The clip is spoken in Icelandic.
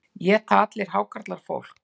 Éta allir hákarlar fólk?